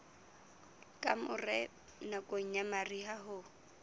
kamore nakong ya mariha ho